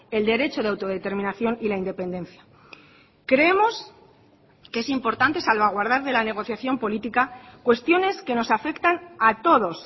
el derecho de autodeterminación y la independencia creemos que es importante salvaguardar de la negociación política cuestiones que nos afectan a todos